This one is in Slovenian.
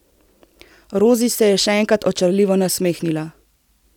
Rozi se je še enkrat očarljivo nasmehnila.